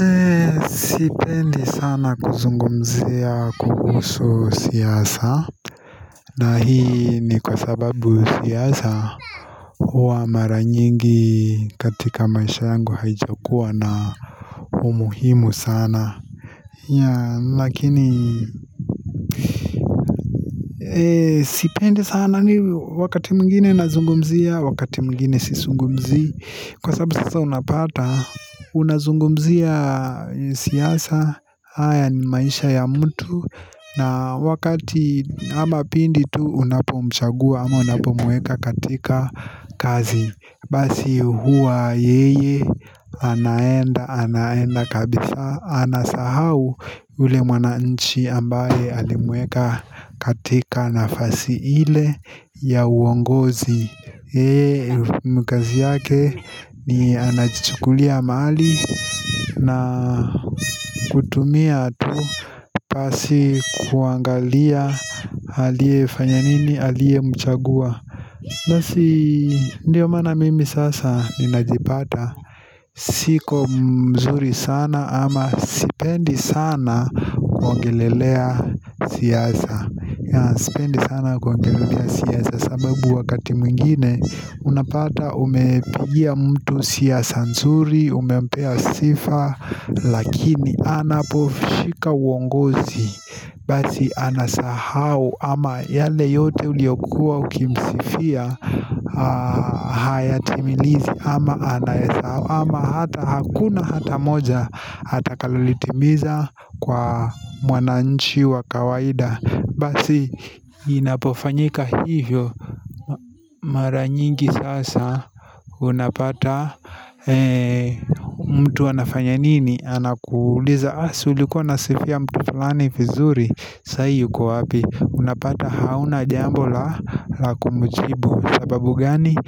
Ee sipendi sana kuzungumzia kuhusu siasa na hii ni kwa sababu siasa huwa mara nyingi katika maisha yangu haijakuwa na umuhimu sana yaa lakini ee sipendi sana ni wakati mwingine nazungumzia wakati mwingine sizungumzi kwa sababu sasa unapata Unazungumzia siasa haya ni maisha ya mtu na wakati Haba pindi tu unapomchagua ama unapomweka katika kazi Basi huwa yeye Anaenda Anaenda kabisa Anasahau ule mwananchi ambaye alimweka katika nafasi ile ya uongozi Yee ni kazi yake ni anajichukulia mali na kutumia tu basi kuangalia aliye fanya nini aliye mchagua Ndiyo maana mimi sasa ninajipata Siko mzuri sana ama sipendi sana kuongelelea siasa Sipendi sana kuongelelea siasa sababu wakati mwingine unapata umepigia mtu siasa nzuri umempea sifa Lakini anaposhika uongozi Basi anasahau ama yale yote uliyokua ukimsifia Hayatimilizi ama anasahau ama hata hakuna hata moja Hata akalolitimiza kwa mwananchi wa kawaida Basi inapofanyika hivyo mara nyingi sasa Unapata mtu anafanya nini Anakuuliza si ulikua unasifia mtu fulani vizuri sahi yuko wapi Unapata hauna jambo la kumjibu sababu gani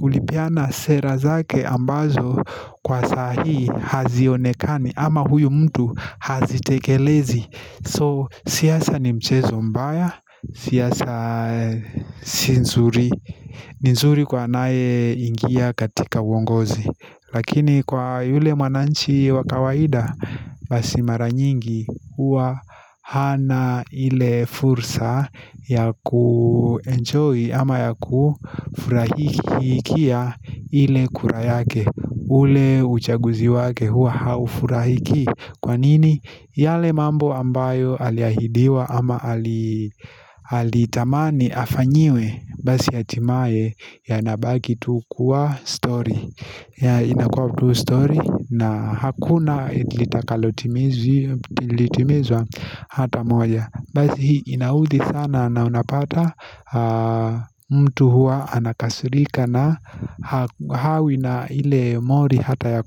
ulipeana sera zake ambazo Kwa sahi hazionekani ama huyu mtu hazitekelezi So siasa ni mchezo mbaya, siasa ni nzuri, ni nzuri kwa anaye ingia katika uongozi Lakini kwa yule mwananchi wa kawaida basi mara nyingi huwa hana ile fursa ya kuenjoy ama ya kufurahikia ile kura yake ule uchaguzi wake hua haufurahiki Kwa nini yale mambo ambayo alihaidiwa ama alitamani afanyiwe Basi hatimaye yanabaki tu kuwa stori ya inakuwa tu stori na hakuna litakalotimizwa hata moja Basi hii inaudhi sana na unapata mtu huwa anakasirika na hawi na ile mori hata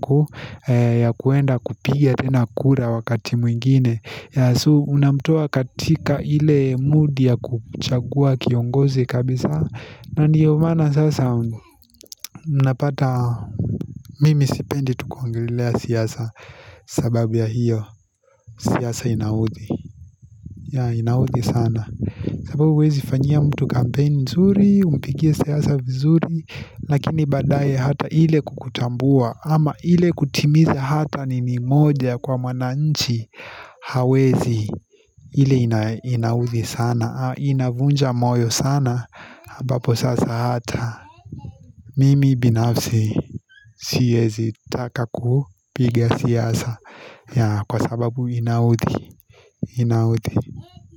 ya kuenda kupiga tena kura wakati mwingine ya so unamtoa katika ile mudi ya kuchagua kiongozi kabisa Ndiyo maana sasa unapata mimi sipendi tu kuongolelea siyasa sababu ya hiyo siasa inaudhi ya inaudhi sana sababu huwezi fanyia mtu kampeni nzuri Umpigie siasa vizuri Lakini baadaye hata ile kukutambua ama ile kutimiza hata nini moja kwa mwananchi hawezi ile inaudhi sana Inavunja moyo sana ambapo sasa hata Mimi binafsi siezi taka kupiga siasa ya kwa sababu inaudhi Inaudhi.